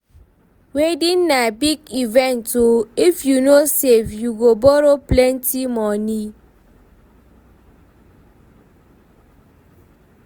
Wedding na big event o, if you no save, you go borrow plenty moni.